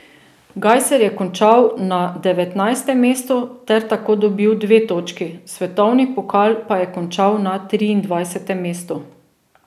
Gajser je končal na devetnajstem mestu ter tako dobil dve točki, svetovni pokal pa je končal na triindvajsetem mestu.